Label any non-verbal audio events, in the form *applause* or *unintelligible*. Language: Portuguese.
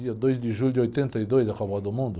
Dia dois de julho de oitenta e dois, *unintelligible* do Mundo?